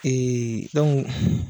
Ee dɔnku.